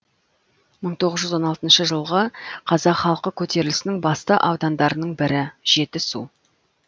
мың тоғыз жүз он алтыншы жылғы қазақ халқы көтерілісінің басты аудандарының бірі жетісу